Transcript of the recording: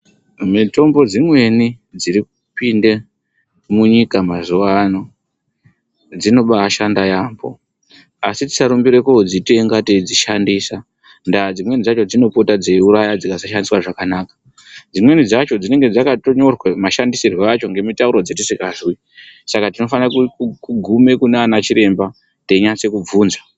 Mitombo dzimweni dzirikupinde munyika mazuwano dzinobashanda yamho. Asi tisarumbira kodzitenga teidzishandisa ndaa dzimweni dzakhona dzinopota dzeiuraya kana dzikasashandiswa zvakanaka. Dzimweni dzacho dzinenge dzakanyirwa mashandisirwe acho ngemitauro dzatisikazwi saka tinofanira kuguma kunana chiremba teinase kubvunza.